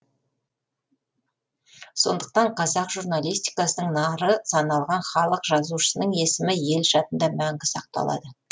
сондықтан қазақ журналистикасының нары саналған халық жазушысының есімі ел жадында мәңгі сақталады